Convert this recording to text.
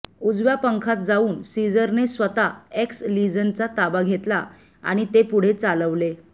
उजव्या पंखात जाऊन सीझरने स्वतः एक्स लीझनचा ताबा घेतला आणि ते पुढे चालवले